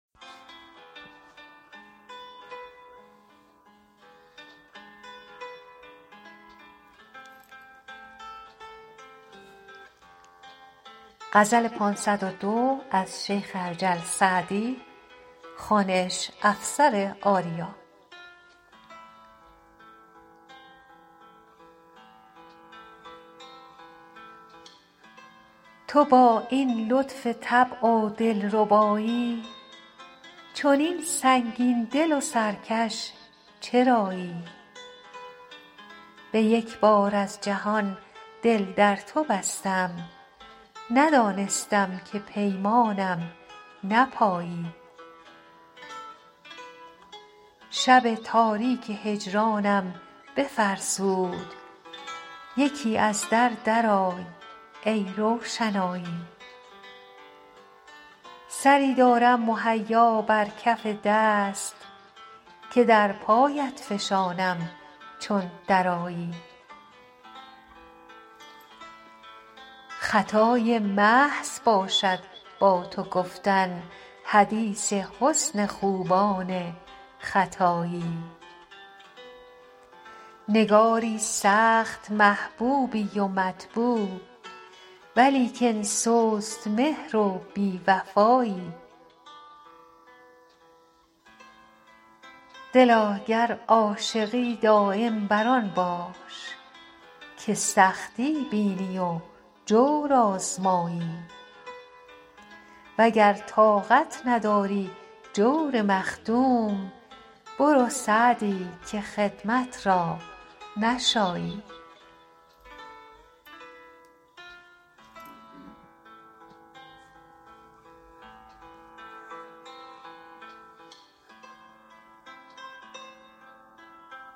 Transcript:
تو با این لطف طبع و دل ربایی چنین سنگین دل و سرکش چرایی به یک بار از جهان دل در تو بستم ندانستم که پیمانم نپایی شب تاریک هجرانم بفرسود یکی از در درآی ای روشنایی سری دارم مهیا بر کف دست که در پایت فشانم چون درآیی خطای محض باشد با تو گفتن حدیث حسن خوبان ختایی نگاری سخت محبوبی و مطبوع ولیکن سست مهر و بی وفایی دلا گر عاشقی دایم بر آن باش که سختی بینی و جور آزمایی و گر طاقت نداری جور مخدوم برو سعدی که خدمت را نشایی